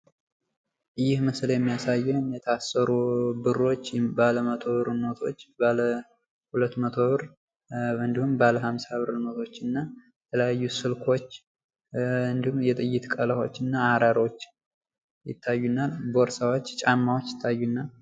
ይህ ምስል የሚያሳየን የታሰሩ ብሮች ባለ መቶ ብር ኖቶች፣ ባለ ሃምሳ ብር ኖቶች እና እንዲሁም ስልኮች እና ቀለሃዎች እና አራራዎች፣ ቦርሳዎች ፣ጫማዎች ይታዩናል።